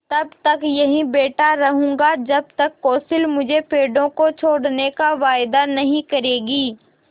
तब तक यहीं बैठा रहूँगा जब तक कौंसिल मुझे पेड़ों को छोड़ने का वायदा नहीं करेगी